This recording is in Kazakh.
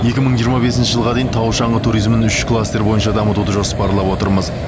екі мың жиырма бесінші жылға дейін тау шаңғы туризмін үш кластер бойынша дамытуды жоспарлап отырмыз